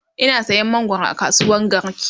Ina sayan mangwaro a kasuwan garki